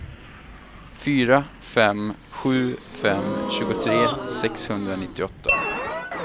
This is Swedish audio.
fyra fem sju fem tjugotre sexhundranittioåtta